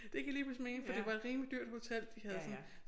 Det giver lige pludselig mening for det var et rimelig dyrt hotel de havde sådan